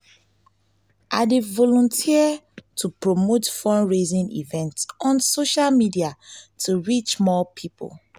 i dey volunteer to promote fundraising events on social media to reach more people.